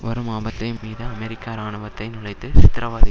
வரும் ஆபத்தை மீது அமெரிக்க இராணுவத்தை நுழைத்து சித்திரவதை